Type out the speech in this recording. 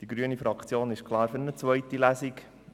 Die grüne Fraktion ist klar für eine zweite Lesung.